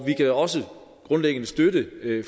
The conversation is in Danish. vi kan også grundlæggende støtte